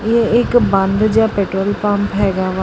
ਇਹ ਇੱਕ ਬੰਦ ਜਿਹਾ ਪੈਟਰੋਲ ਪੰਪ ਹੈਗਾ ਵਾ।